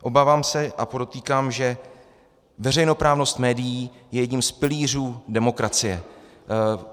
Obávám se - a podotýkám, že veřejnoprávnost médií je jedním z pilířů demokracie.